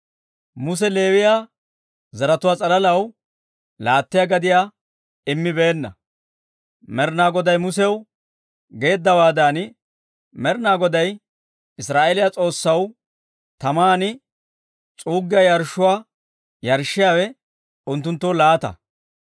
Muse Leewiyaa zaratuwaa s'alalaw laattiyaa gadiyaa immibeenna. Med'ina Goday Musew geeddawaadan, Med'ina Goday Israa'eeliyaa S'oossaw taman s'uuggiyaa yarshshuwaa yarshshiyaawe unttunttoo laata.